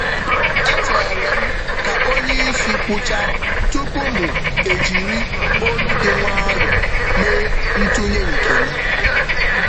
M chere ruo mgbe oga kwusịrị ikwu ikwu okwu tupu m enye aro m n’ụzọ nkwanye ùgwù.